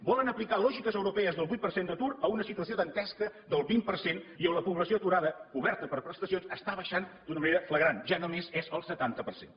volen aplicar lògiques europees del vuit per cent d’atur a una situació dantesca del vint per cent i on la població aturada coberta per prestacions està baixant d’una manera flagrant ja només és el setanta per cent